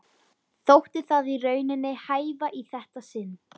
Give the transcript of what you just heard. Þótti það í rauninni hæfa í þetta sinn.